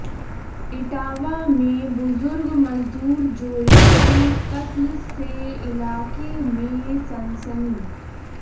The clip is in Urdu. اٹاوہ میں بزرگ مزدور جوڑے کے قتل سےعلاقہ میں سنسنی